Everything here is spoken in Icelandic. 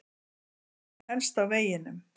En hann helst á veginum.